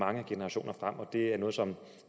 mange generationer frem og det er noget som